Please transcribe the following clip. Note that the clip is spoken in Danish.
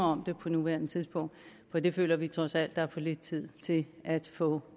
om det på nuværende tidspunkt for det føler vi trods alt at der er for lidt tid til at få